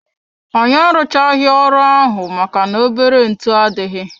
Anyị arụchaghi ọrụ ahụ maka na-obere ntụ adịghị.